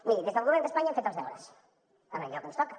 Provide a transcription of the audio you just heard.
miri des del govern d’espanya hem fet els deures en allò que ens toca